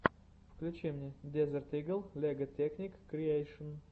включи мне дезерт игл лего текник криэйшн